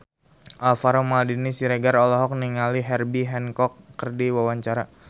Alvaro Maldini Siregar olohok ningali Herbie Hancock keur diwawancara